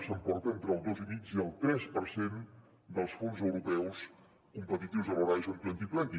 s’emporta entre el dos i mig i el tres per cent dels fons europeus competitius de l’horizon dos mil vint